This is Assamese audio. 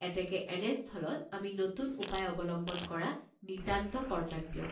এতেকে এনেস্থলত আমি নতুন উপায় অৱলম্বন কৰা নিতান্ত কৰ্ত্তব্য।